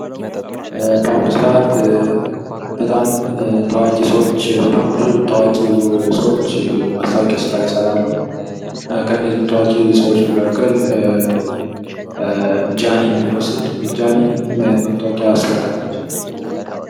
በአሁኑ ሰዓት በጣም ታዋቂ ሰዎች በጣም ብዙ ታዋቂ ሰዎች የማስታወቂያ ስራ ይሰራሉ ።ከነዚህም ታዋቂ ሰዎች መካከል ጃኒ ብንወስድ ጃኒ ምን አይነት ማስታወቂያ ሰርታለች?